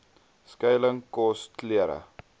skuiling kos klere